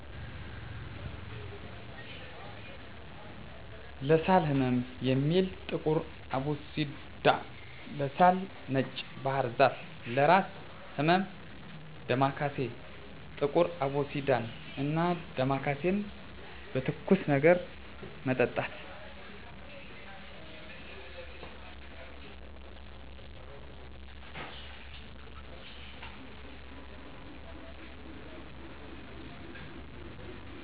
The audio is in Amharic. ለሳል ህመም የሚውል ጥቁር አቦሲዳ, ለሳል ነጭ ባህርዛፍ ,ለእራስ ህመም ዳማካሴ። ጥቁር አቦሲዳን እና ዳማካሴን በትኩስ ነገር መጠጣት።